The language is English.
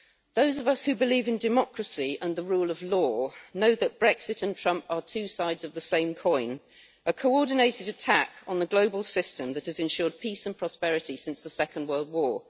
Those of us who believe in democracy and the rule of law know that Brexit and Trump are two sides of the same coin a coordinated attack on the global system that has ensured peace and prosperity since the Second World War.